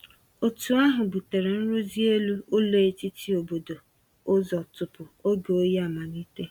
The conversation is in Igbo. Otu ahụ butere nrụzi elu ụlọ etiti obodo ụzọ tupu oge oyi amalite.